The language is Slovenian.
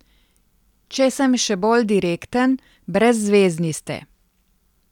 Če sem še bolj direkten, brezzvezni ste.